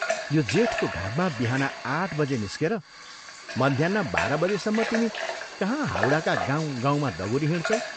यो जेठको घाममा बिहान आठ बजे निस्केर मध्याह्न बाह्र बजेसम्म तिमी कहाँ हावडाका गाउँ गाउँमा दगुरिहिंड्छौ?